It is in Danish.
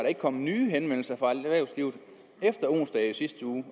ikke kommet nye henvendelser fra erhvervslivet efter onsdag i sidste uge